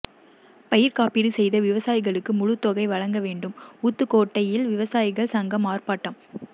பயிர்காப்பீடு செய்த விவசாயிகளுக்கு முழுத்தொகை வழங்கவேண்டும் ஊத்துக்கோட்டையில் விவசாயிகள் சங்கம் ஆர்ப்பாட்டம்